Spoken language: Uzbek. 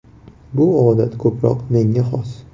Bu odat ko‘proq menga xos.